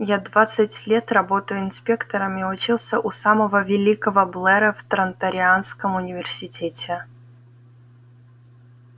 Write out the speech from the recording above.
я двадцать лет работаю инспектором и учился у самого великого блера в транторианском университете